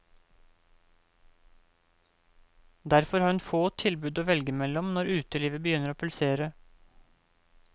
Derfor har hun få tilbud å velge mellom når utelivet begynner å pulsere.